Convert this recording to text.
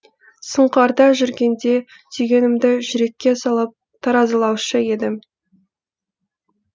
сұңқарда жүргенде түйгенімді жүрекке салып таразылаушы едім